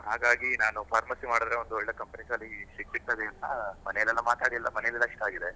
ಹಾಗಾಗಿ ನಾನು pharmacy ಮಾಡಿದ್ರೆ ಒಳ್ಳೆ companies ಅಲ್ಲಿ ಸಿಕ್ತದೆ ಅಂತ, ಮನೆಯಲ್ಲಿ ಎಲ್ಲ ಮಾತಾಡಿ ಎಲ್ಲಾ ಮನೇಲೆಲ್ಲ ಇಷ್ಟ ಆಗಿದೆ.